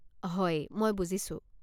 হয়, মই বুজিছো।